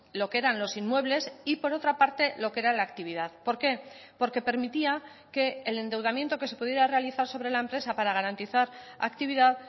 lo que eran los inmuebles y por otra parte lo que era la actividad por qué porque permitía que el endeudamiento que se pudiera realizar sobre la empresa para garantizar actividad